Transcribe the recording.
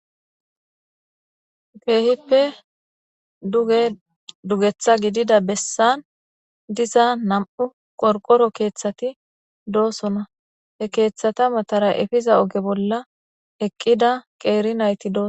Keehippe duge dugeththa gidida bessan diza nam'u qorqoro keeththati doosona he keeththata matara efiza oge bolla eqqida qeeri nayti dooso.